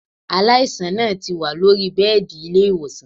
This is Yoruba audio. Aláìsàn náà ti wà lóri bẹ́ẹ̀dì ilé-ìwòsàn